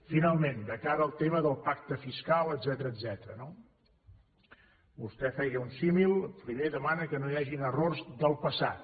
finalment de cara al tema del pacte fiscal etcètera no vostè feia un símil primer demana que no hi hagin errors del passat